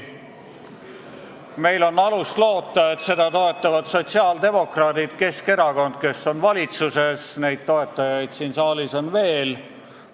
Meil on alust loota, et seda toetavad sotsiaaldemokraadid ja Keskerakond, kes on valitsuses, aga toetajaid on siin saalis veel.